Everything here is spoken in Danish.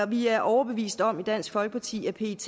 vi er overbevist om i dansk folkeparti at pet